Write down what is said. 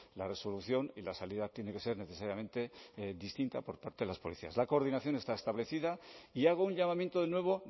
la resolución y la salida tiene que ser necesariamente distinta por parte de las policías la coordinación está establecida y hago un llamamiento de nuevo